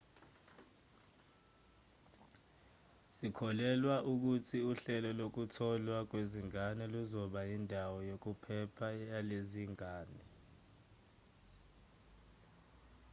sikholelwa ukuthi uhlelo lokutholwa kwezingane luzoba yindawo yokuphepha yalezi zingane